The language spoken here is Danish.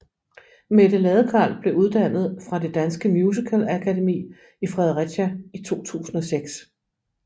Mette Ladekarl blev uddannet fra Det Danske Musicalakademi i Fredericia i 2006